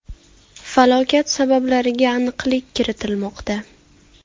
Falokat sabablariga aniqlik kiritilmoqda.